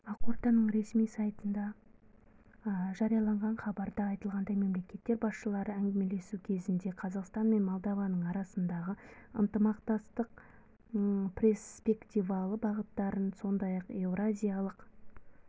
ақорданың ресми сайтында жарияланған хабарда айтылғандай мемлекеттер басшылары әңгімелесу кезінде қазақстан мен молдова арасындағы ынтымақтастықтың перспективалы бағыттарын сондай-ақ еуразиялық